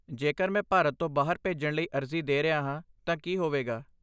ਜੇਕਰ ਮੈਂ ਭਾਰਤ ਤੋਂ ਬਾਹਰ ਭੇਜਣ ਲਈ ਅਰਜ਼ੀ ਦੇ ਰਿਹਾ ਹਾਂ ਤਾਂ ਕੀ ਹੋਵੇਗਾ?